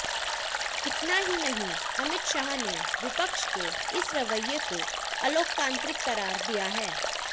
इतना ही नहीं अमित शाह ने विपक्ष के इस रवैये को अलोकतांत्रिक करार दिया है